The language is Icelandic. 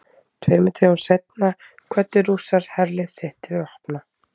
Tveimur dögum seinna kvöddu Rússar herlið sitt til vopna.